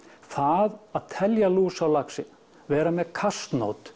það að telja lús á laxi vera með